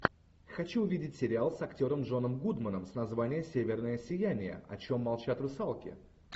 хочу увидеть сериал с актером джоном гудманом с названием северное сияние о чем молчат русалки